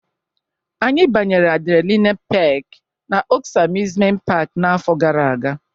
Anyị banyere adrenaline Peak na Oaks Amusement Park n'afọ gara aga